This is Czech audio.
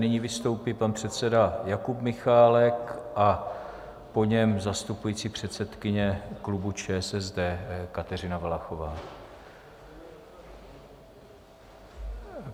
Nyní vystoupí pan předseda Jakub Michálek a po něm zastupující předsedkyně klubu ČSSD Kateřina Valachová.